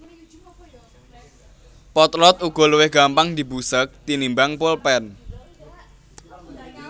Potlot uga luwih gampang dibusek tinimbang polpèn